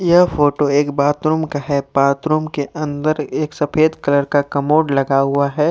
यह फोटो एक बाथरूम का है बाथरूम के अंदर एक सफेद कलर का कमोड लगा हुआ है।